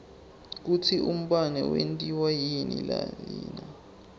kutsi umbane wentiwa yini nalina